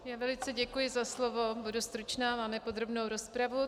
Já velice děkuji za slovo, budu stručná, máme podrobnou rozpravu.